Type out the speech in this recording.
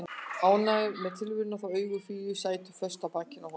Ánægður með tilveruna þó að augu Fíu sætu föst í bakinu á honum.